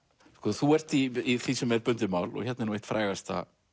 þú ert í því sem er bundið mál og hérna er nú eitt frægasta